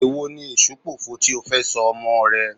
Èwo ni Èṣùpòfo tí ó fẹ́ sọ ọmọọ̀ rẹ?